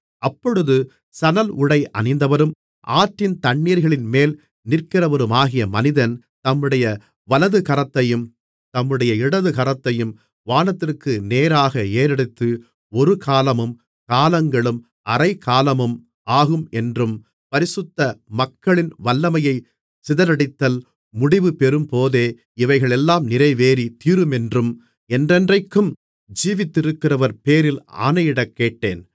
அப்பொழுது சணல்உடை அணிந்தவரும் ஆற்றின் தண்ணீர்களின்மேல் நிற்கிறவருமாகிய மனிதன் தம்முடைய வலதுகரத்தையும் தம்முடைய இடதுகரத்தையும் வானத்திற்கு நேராக ஏறெடுத்து ஒரு காலமும் காலங்களும் அரைக்காலமும் ஆகும் என்றும் பரிசுத்த மக்களின் வல்லமையைச் சிதறடித்தல் முடிவு பெறும்போதே இவைகளெல்லாம் நிறைவேறித் தீருமென்றும் என்றென்றைக்கும் ஜீவித்திருக்கிறவர்பேரில் ஆணையிடக்கேட்டேன்